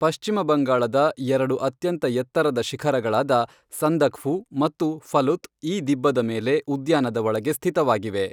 ಪಶ್ಚಿಮ ಬಂಗಾಳದ ಎರಡು ಅತ್ಯಂತ ಎತ್ತರದ ಶಿಖರಗಳಾದ ಸಂದಕ್ಫು ಮತ್ತು ಫಲುತ್ ಈ ದಿಬ್ಬದ ಮೇಲೆ, ಉದ್ಯಾನದ ಒಳಗೆ ಸ್ಥಿತವಾಗಿವೆ.